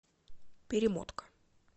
перемотка